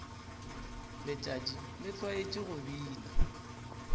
letšatši le tlwaetše go bina